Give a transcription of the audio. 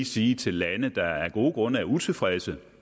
sige til lande der af gode grunde er utilfredse